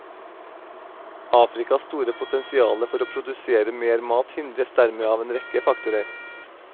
Afrikas store potensiale for å produsere mer mat hindres dermed av en rekke faktorer.